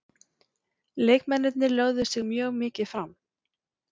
Leikmennirnir lögðu sig mjög mikið fram.